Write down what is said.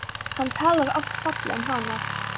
Hann talar oft fallega um hana.